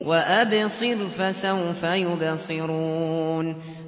وَأَبْصِرْ فَسَوْفَ يُبْصِرُونَ